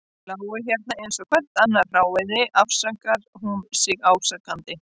Þau lágu hérna eins og hvert annað hráviði, afsakar hún sig ásakandi.